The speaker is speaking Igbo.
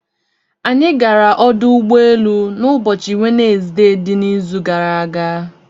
Anyị gara ọdụ ụgbọelu n'ụbọchị Wenezde n'izu gara aga.